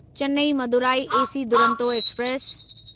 Chennai Madurai AC Duronto express